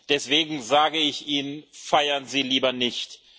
auch. Deswegen sage ich Ihnen Feiern Sie lieber nicht.